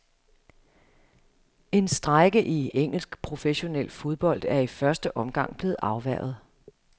En strejke i engelsk professionel fodbold er i første omgang blevet afværget.